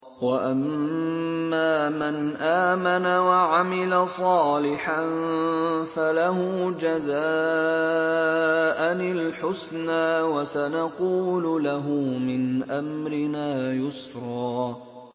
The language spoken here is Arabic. وَأَمَّا مَنْ آمَنَ وَعَمِلَ صَالِحًا فَلَهُ جَزَاءً الْحُسْنَىٰ ۖ وَسَنَقُولُ لَهُ مِنْ أَمْرِنَا يُسْرًا